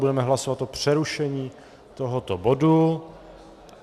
Budeme hlasovat o přerušení tohoto bodu.